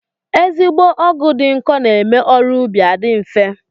Ezigbo ọgụ dị nkọ na-eme ọrụ ubi adị nfe